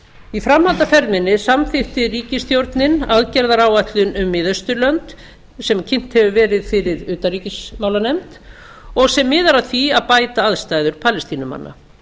í framhaldi af ferð minni samþykkti ríkisstjórnin aðgerðaáætlun um miðausturlönd sem kynnt hefur verið fyrir utanríkismálanefnd sem miðar að því að bæta aðstæður palestínumanna